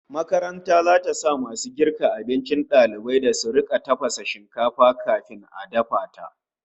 Makaranta zata sa masu girka abincin dalibai su rika fara tafasa shinkafa kafin a dafa ta